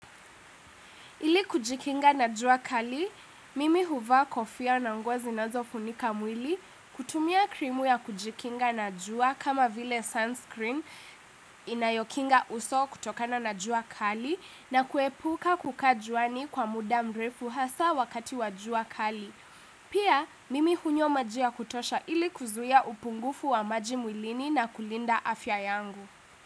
Ili kujikinga na jua kali, mimi huvaa kofia na nguo zinazofunika mwili kutumia krimu ya kujikinga na jua kama vile sunscreen inayokinga uso kutokana na jua kali na kuepuka kukaa juani kwa muda mrefu hasa wakati wa jua kali. Pia mimi hunywa maji ya kutosha ili kuzuia upungufu wa maji mwilini na kulinda afya yangu.